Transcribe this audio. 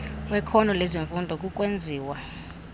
wekhono lezifundo kukwenziwa